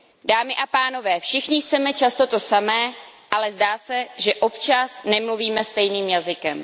Dámy a pánové, všichni chceme často to samé, ale zdá se, že občas nemluvíme stejným jazykem.